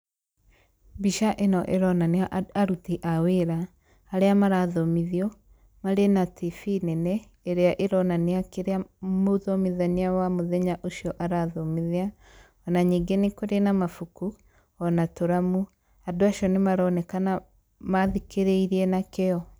Mbica ĩno ĩronania aruti a wĩra, arĩa marathomithio, marĩ na tibi nene, ĩrĩa ĩronania kĩrĩa mũthomithania wa mũthenya ũcio arathomithia, ona nyingĩ nĩ kurĩ na mabuku, ona tũramu, andũ acio ni maronekana mathikĩrĩirie na kĩo.